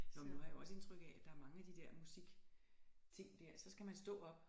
Nåh men nu har jeg jo også indtryk af at der er mange af de der musikting dér så skal man stå op